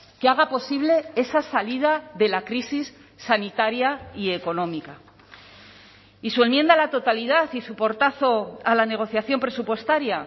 que haga posible esa salida de la crisis sanitaria y económica y su enmienda a la totalidad y su portazo a la negociación presupuestaria